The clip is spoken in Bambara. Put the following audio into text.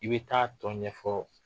I bɛ taa tɔn ɲɛfɔ